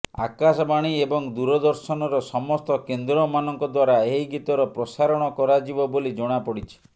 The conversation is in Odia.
ଆକାଶବାଣୀ ଏବଂ ଦୂରଦର୍ଶନର ସମସ୍ତ କେନ୍ଦ୍ରମାନଙ୍କ ଦ୍ୱାରା ଏହି ଗୀତର ପ୍ରସାରଣ କରାଯିବ ବୋଲି ଜଣାପଡିଛି